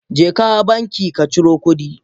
Jeka banki kaciro kudi.